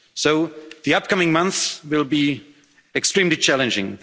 each other. So the upcoming months will be extremely